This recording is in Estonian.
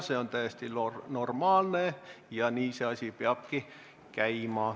See on täiesti normaalne ja nii see asi peabki käima.